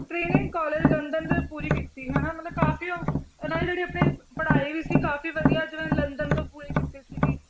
college London ਦੇ ਪੂਰੀ ਕੀਤੀ ਹਨਾ ਕਾਫ਼ੀ ਉਹ ਜਿਹੜੀ ਆਪਣੀ ਪੜ੍ਹਾਈ ਵੀ ਸੀ ਕਾਫ਼ੀ ਵਧੀਆ ਜਿਵੈਂ ਲੰਦਨ ਤੋਂ ਪੂਰੀ ਕੀਤੀ ਸੀਗੀ।